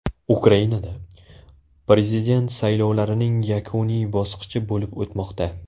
Ukrainada prezident saylovlarining yakuniy bosqichi bo‘lib o‘tmoqda.